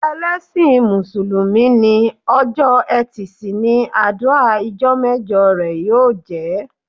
Ẹlẹsin músùlùmí ni, ọjọ́ e̩tì si ni adua ijọ́ mẹjọ rẹ ó jẹ́